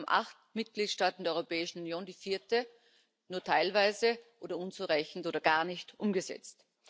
Insgesamt haben acht Mitgliedstaaten der Europäischen Union die vierte nur teilweise oder unzureichend oder gar nicht umgesetzt.